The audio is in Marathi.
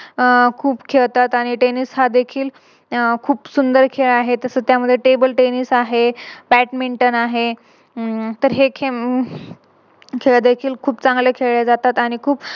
अह खूप खेळतात आणि Teniss हा देखील खूप सुंदर खेळ आहे. तस त्यामध्ये Table tennis आहे. Badminton आहे. तर हे खेळ देखील खूप चांगले खेळल्या जातात आणि